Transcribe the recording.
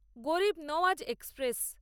গরিব নাওয়াজ এক্সপ্রেস